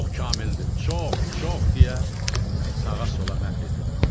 Çox kamildir, çox, çox deyə sağa-sola məth edirdi.